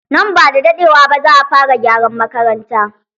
Nan bada daɗewa ba za a fara gyaran makaranta.